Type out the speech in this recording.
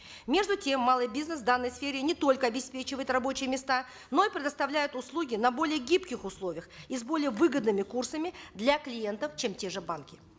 между тем малый бизнес в данной сфере не только обеспечивает рабочие места но и предоставляет услуги на более гибких условиях и с более выгодными курсами для клиентов чем те же банки